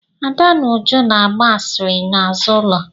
Ada na Uju na-agba asịrị n'azụ ụlọ.